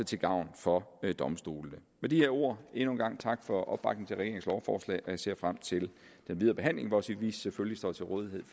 til gavn for domstolene med de her ord endnu en gang tak for opbakningen regeringens lovforslag jeg ser frem til den videre behandling hvor vi selvfølgelig står til rådighed